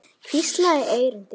Hvísla í eyru þín.